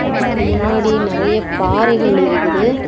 அதுக்கு முன்னாடி நெறைய பாறைகள் இருகுது.